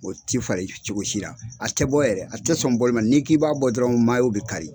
O ti falen cogosi la a tɛ bɔ yɛrɛ a tɛ sɔn boli ma n'i k'i b'a bɔ dɔrɔn bɛ kari.